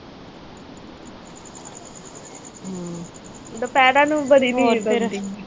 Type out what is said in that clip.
ਦੁਪਹਿਰਾਂ ਨੂੰ ਬੜੀ